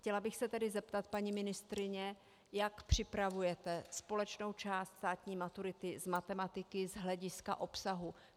Chtěla bych se tedy zeptat, paní ministryně, jak připravujete společnou část státní maturity z matematiky z hlediska obsahu.